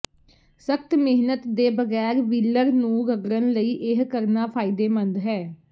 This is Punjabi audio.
ਸਖਤ ਮਿਹਨਤ ਦੇ ਬਗੈਰ ਵੀਲਰ ਨੂੰ ਰਗੜਨ ਲਈ ਇਹ ਕਰਨਾ ਫਾਇਦੇਮੰਦ ਹੈ